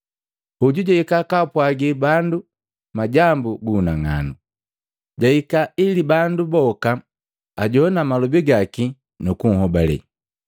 Hoju jahika kaapwagi bandu majambu gu unang'anu. Jahika ili bandu boka ajoana malobi gaki nu kunhobale.